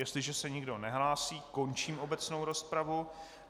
Jestliže se nikdo nehlásí, končím obecnou rozpravu.